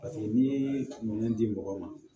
Paseke n'i ye minɛn di mɔgɔ ma